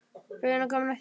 Röðin er komin að þér.